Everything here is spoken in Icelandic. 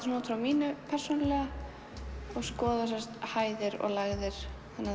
svona út frá mínu persónulega og skoða sem sagt hæðir og lægðir þannig að